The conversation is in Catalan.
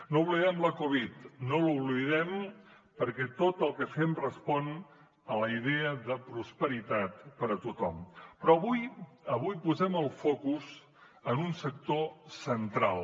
no oblidem la covid no l’oblidem perquè tot el que fem respon a la idea de prosperitat per a tothom però avui posem el focus en un sector central